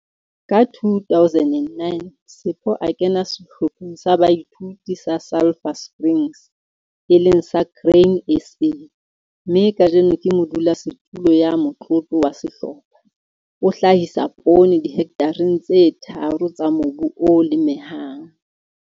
Ka 2009 Sipho a kena Sehlopheng sa Boithuto sa Sulphur Springs, e leng sa Grain SA, mme kajeno ke modulasetulo ya motlotlo wa sehlopha. O hlahsa poone dihekthareng tse tharo tsa mobu o lemehang.